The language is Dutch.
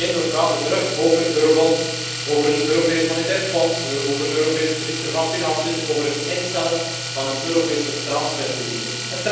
Neen, we praten opnieuw over eurobonds, over een Europees Monetair Fonds, over een Europese minister van Financiën, over het instellen van een Europese transferunie.